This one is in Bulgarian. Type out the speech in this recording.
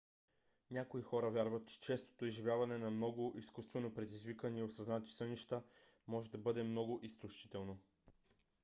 някои хора вярват че честото изживяване на много изкуствено предизвикани осъзнати сънища може да бъде много изтощително